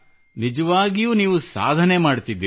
ನಿಜವಾಗಿಯೂ ನೀವು ಸಾಧನೆಯನ್ನು ಮಾಡುತ್ತಿದ್ದೀರಿ